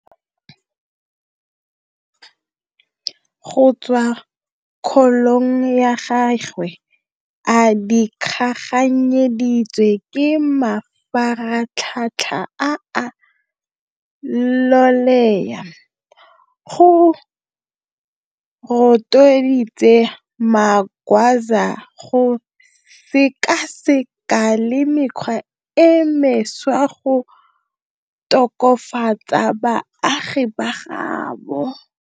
Go tswa kgolong ya gagwe a dikaganyeditswe ke mafaratlhatlha a a loleya, go rotloeditse Magwaza go sekasekana le mekgwa e mešwa go tokafatsa baagi ba gaabo.